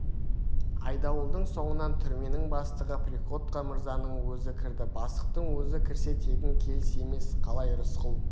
айдауылдың соңынан түрменің бастығы приходько мырзаның өзі кірді бастықтың өзі кірсе тегін келіс емес қалай рысқұл